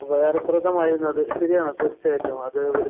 ഉപകാരപ്രദമായിരുന്നു. അത് ശരിയാണ് തീര്‍ച്ചയായിട്ടും.